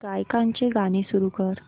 गायकाचे गाणे सुरू कर